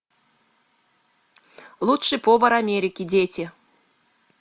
лучший повар америки дети